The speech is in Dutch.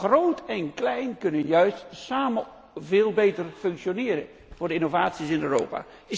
Groot en klein kunnen juist samen veel beter functioneren voor de innovaties in Europa.